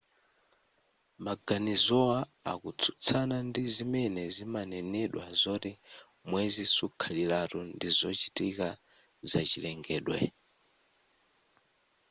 maganizowa akutsutsana ndi zimene zimanenedwa zoti mwezi sukhaliratu ndizochitika zachilengedwe